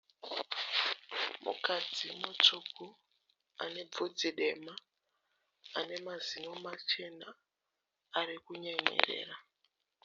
Mukadzi mutsvuku ane bvudzi dema ane mazino machena arikunyemwerera.